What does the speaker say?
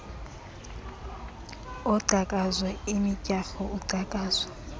ongcakazo imidyarho ungcakazo